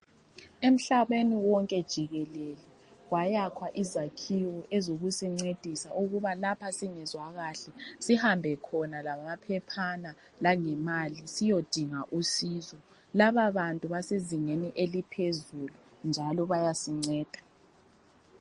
Emhlabeni wonke jikelele kwayakhwa izakhiwo ezokusincedisa ukuba lapha singezwa kahle sihambe khona lamaphephana langemali siyodinga usizo laba bantu basezingeni eliphezulu njalo bayasinceda.